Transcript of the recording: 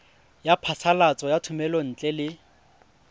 ya phasalatso ya thomelontle le